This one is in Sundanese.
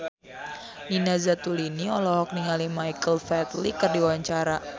Nina Zatulini olohok ningali Michael Flatley keur diwawancara